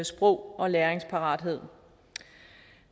sprog og læringsparathed